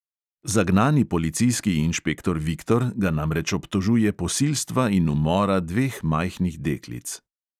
Zagnani policijski inšpektor viktor ga namreč obtožuje posilstva in umora dveh majhnih deklic.